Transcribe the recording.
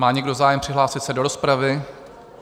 Má někdo zájem přihlásit se do rozpravy?